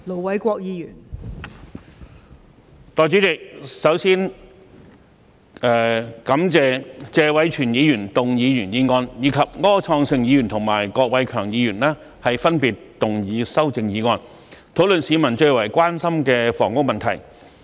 代理主席，首先感謝謝偉銓議員動議原議案，以及柯創盛議員及郭偉强議員分別動議修正案，討論市民最為關心的房屋問題。